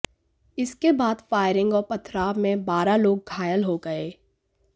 इसके बाद फायरिंग और पथराव में बारह लोग घायल हो गए